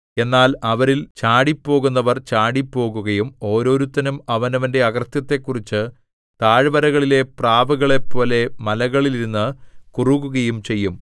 എന്നാൽ അവരിൽ ചാടിപ്പോകുന്നവർ ചാടിപ്പോകുകയും ഓരോരുത്തനും അവനവന്റെ അകൃത്യത്തെക്കുറിച്ച് താഴ്വരകളിലെ പ്രാവുകളെപ്പോലെ മലകളിൽ ഇരുന്നു കുറുകുകയും ചെയ്യും